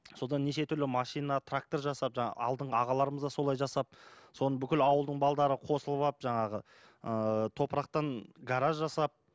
содан неше түрлі машина трактор жасап жаңағы алдыңғы ағаларымыз да солай жасап соны бүкіл ауылдың балалары қосылып алып жаңағы ыыы топырақтан гараж жасап